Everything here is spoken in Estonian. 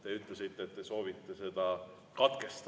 Te ütlesite, et te soovite seda katkestada.